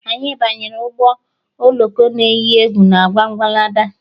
Anyị banyere ụgbọ oloko na eyi egwu na Wondalandi